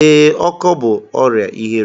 Ee, ọkọ bú ọrịa ihere.